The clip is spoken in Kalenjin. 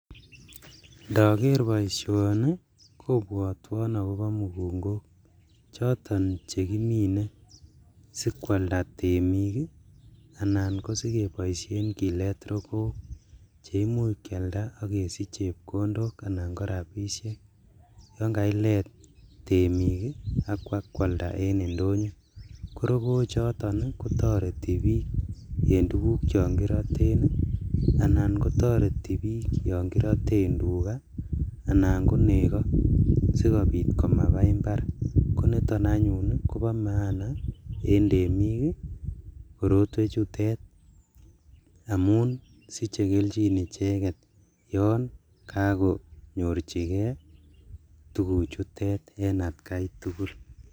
ndogeer boishoni kobwotwon ak koboo mugungook choton chegimine sikwalda temik anan ko sigeboisheen kileet rogook cheimuch kyalda ak kesich chepkondoook anan ko rabishek, yaan kailet temik iih ab bakwalda en indonyo ko rogook choton iih kotoreti biik en tuguk chon kiroten anan kotoreti biik yon kiroten tuga anan ko nego sigobiit komabaa imbaar niton anyuun iih kobomaana en temiik iih korotweek chutet omun siche kelchin icheget yoon kagonyorchigee tuguk chutet en atkai tugul